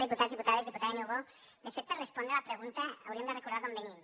diputats diputades diputada niubó de fet per respondre la pregunta hauríem de recordar d’on venim